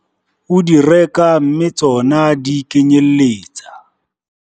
O di reka mme tsona di kenyelletsa.